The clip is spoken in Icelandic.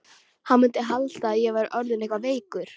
Hann mundi halda að ég væri orðinn eitthvað veikur.